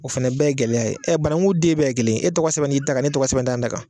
O fɛnɛ bɛɛ ye gɛlɛya ye ɛ banangu den bɛɛ ye kelen e tɔgɔ sɛbɛn n'i ta kan ne tɔgɔ sɛbɛn tɛ ta kan